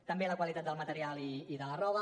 també la qualitat del material i de la roba